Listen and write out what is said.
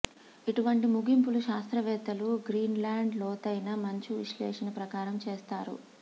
ఇటువంటి ముగింపులు శాస్త్రవేత్తలు గ్రీన్లాండ్ లోతైన మంచు విశ్లేషణ ప్రకారం చేసారు